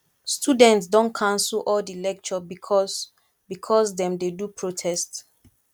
students don cancel all di lecture because because dem dey do protest